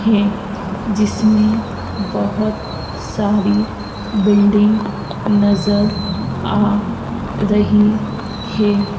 है जिसमें बहुत सारी बिल्डिंग नज़र आ रही है।